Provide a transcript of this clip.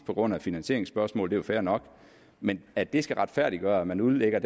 på grund af finansieringsspørgsmålet jo fair nok men at det skal retfærdiggøre at man udlægger